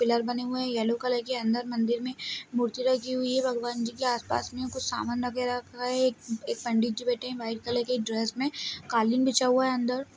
Pillar बने हुए हैं येलो कलर के अंदर मंदिर में मूर्ति रखी हुई हैं भगवान जी के आस-पास में समान वगैरह रखा है एक एक पंडित जी बैठे हुए हैं वाइट कलर के ड्रेस में कालीन बिछा हुआ है अंदर।